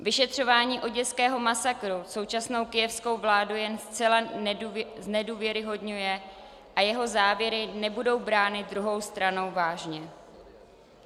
Vyšetřování oděského masakru současnou kyjevskou vládu jen zcela znedůvěryhodňuje a jeho závěry nebudou brány druhou stranou vážně.